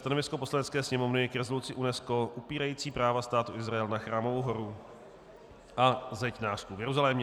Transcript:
Stanovisko Poslanecké sněmovny k rezoluci UNESCO upírající práva Státu Izrael na Chrámovou horu a Zeď nářků v Jeruzalémě